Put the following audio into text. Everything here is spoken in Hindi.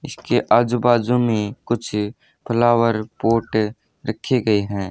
इसके आजू बाजू में कुछ फ्लावर पॉट रखे गए हैं।